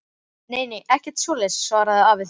Nei nei, ekkert svoleiðis, svaraði afi þinn.